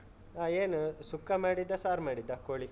ಹಾ. ಏನು ಸುಕ್ಕ ಮಾಡಿದ್ದಾ? ಸಾರ್ ಮಾಡಿದ್ದಾ ಕೋಳಿ?